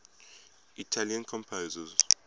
italian composers